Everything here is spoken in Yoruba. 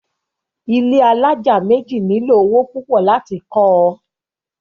ilé alájà méjì nílò owó púpọ̀ láti kọ́ ọ.